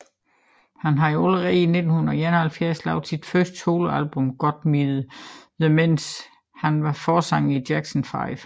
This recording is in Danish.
Han havde allerede i 1971 lavet sit første soloalbum Got to Be There mens han var forsanger i Jackson Five